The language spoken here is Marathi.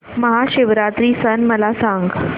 महाशिवरात्री सण मला सांग